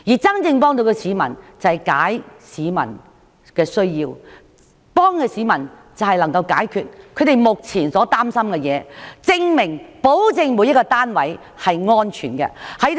真正能幫助市民的，是照顧他們的需要，解決他們目前所擔心的事，並保證每一個單位均是安全的。